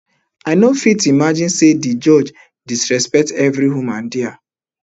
i no fit imagine say di judge disrespect every woman dia